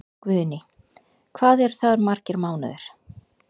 Guðný: Hvað eru það margir mánuðir?